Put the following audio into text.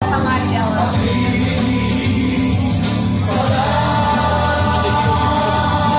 она реакцией кем